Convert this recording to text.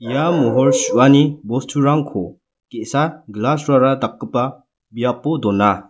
ia mohor su·ani bosturangko ge·sa glass-rara dakgipa biapo dona.